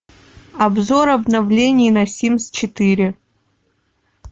обзор обновлений на симс четыре